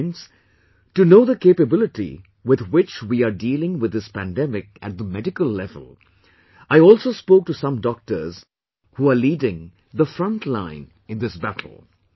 Friends, to know the capability with which we are dealing with this pandemic at the medical level, I also spoke to some doctors who are leading the front line in this battle